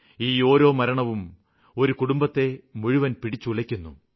ഈ ഓരോ മരണവും ഒരു കുടുംബത്തെ മുഴുവനായും പിടിച്ചുലയ്ക്കുന്നു